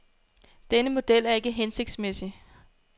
Denne model er ikke hensigtsmæssig.